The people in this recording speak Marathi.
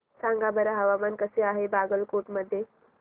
सांगा बरं हवामान कसे आहे बागलकोट मध्ये